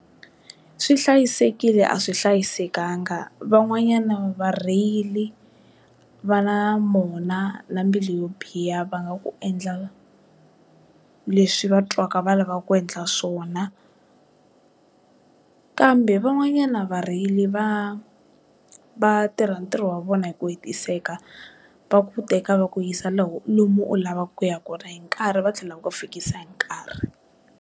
Swi hlayisekile a swi hlayisekanga van'wanyana varheyili va na mona na mbilu yo biha va nga ku endla leswi va twaka va lavaka ku endla swona kambe van'wanyana varheyili va va tirha ntirho wa vona hi ku hetiseka va ku teka va ku yisa lomu u lavaku ku ya kona hi nkarhi va tlhela va fikisa hi nkarhi.